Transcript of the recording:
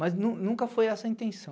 Mas nunca nunca foi essa a intenção.